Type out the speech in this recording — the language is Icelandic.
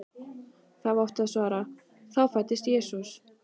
þá átti að svara: þá fæddist Jesús.